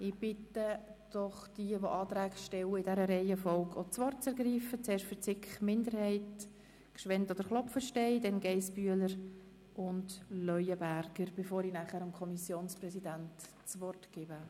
Ich bitte die Antragstellenden in der genannten Reihenfolge das Wort zu ergreifen, bevor ich das Wort dem Kommissionspräsidenten erteile.